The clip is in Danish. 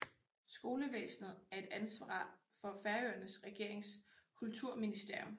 Skolevæsenet er et ansvar for Færøernes regerings Kulturministerium